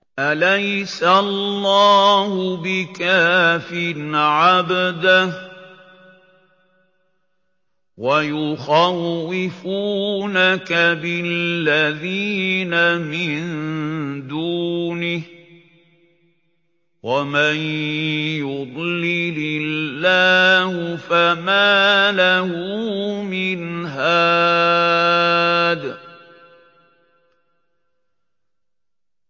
أَلَيْسَ اللَّهُ بِكَافٍ عَبْدَهُ ۖ وَيُخَوِّفُونَكَ بِالَّذِينَ مِن دُونِهِ ۚ وَمَن يُضْلِلِ اللَّهُ فَمَا لَهُ مِنْ هَادٍ